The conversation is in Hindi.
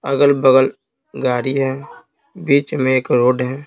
अगल-बगल गाड़ी है बीच में एक रोड है।